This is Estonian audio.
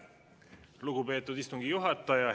Lugupeetud istungi juhataja!